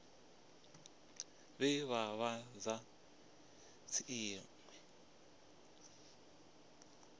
vhe vha vha sa dzhielwi